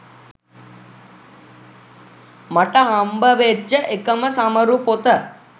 මට හම්බ වෙච්ච එකම සමරු පොත.